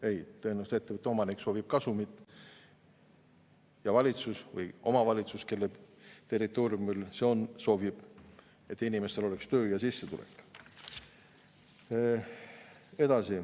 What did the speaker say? Ei, tõenäoliselt soovib ettevõtte omanik kasumit, ja valitsus või omavalitsus, kelle territooriumil, soovib, et inimestel oleks töö ja sissetulek.